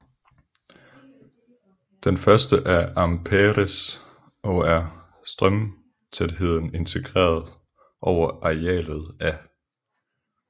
Den første er Ampères og er strømtætheden integreret over arealet af